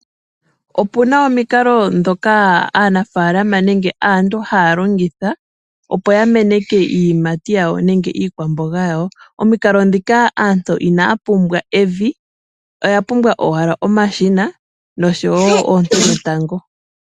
Opuna omikalo dhoka aanafalama nenge aantu haya longitha opo ya meneke iiyimati yawo nenge iikwamboga yawo. Omikalo dhika aantu inaya pumbwa evi, oya pumbwa owala omashina noshowo oonte dhetango.